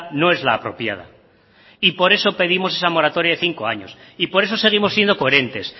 no es la apropiada y por eso pedimos esa moratoria de cinco años y por eso seguimos siendo coherentes